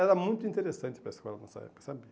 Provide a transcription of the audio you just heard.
Era muito interessante para a escola nessa época, sabia?